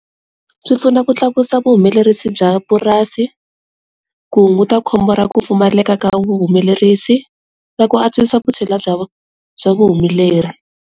Swi pfuna ku tlakusa vuhumelerisi bya purasi, ku hunguta khombo ra ku pfumaleka ka vuhumelerisi, na ku antswisa vusthila bya bya vu humeleri.